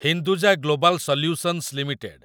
Hinduja Global Solutions limited